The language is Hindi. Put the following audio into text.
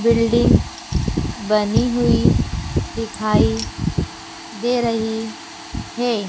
बिल्डिंग बनी हुई दिखाई दे रही है।